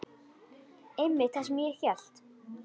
Einmitt það sem ég hélt.